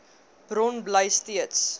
bron bly steeds